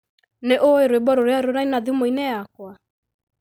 Nĩ ũĩ rwĩmbo rũrĩa ruraĩna thimũ-inĩ yakwa